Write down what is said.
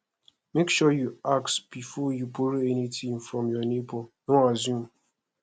make sure you ask before you borrow anything from your neighbor no assume